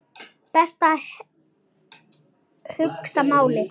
Best að hugsa málið.